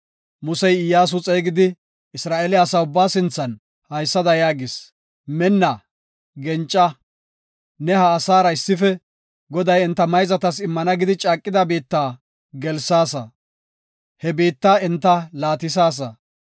Musey Iyyasu xeegidi, Isra7eele asaa ubbaa sinthan haysada yaagis; “Minna; genca. Ne ha asaara issife Goday enta mayzatas immana gidi caaqida biitta gelaasa; he biitta enta laatisaasa.